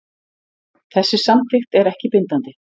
Þessi samþykkt er ekki bindandi